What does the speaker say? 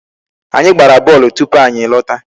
Anyị gbara bọọlụ tupu anyị lọta.